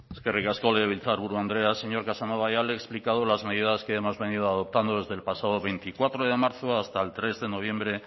eskerrik asko legebiltzarburu andrea señor casanova ya le he explicado las medidas que hemos venido adoptando desde el pasado veinticuatro de marzo hasta el tres de noviembre